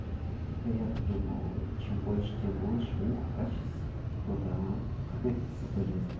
так а я-то думал чем больше тем лучше ух качество а тут ага соболезную